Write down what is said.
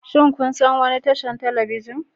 Shin kun san wani tashar talabijin?